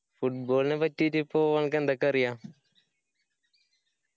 football നെ പറ്റിയിട്ട് ഇപ്പൊ അനക്ക് എന്തൊക്കെ അറിയ